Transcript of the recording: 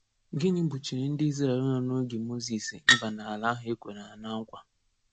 Gịnị gbochiri ndị Izrel nọ n’oge Mozis ịba n’ala ahụ e kwere ha na na nkwa?